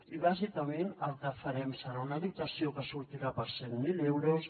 i bàsicament el que farem serà una dotació que sortirà per cent mil euros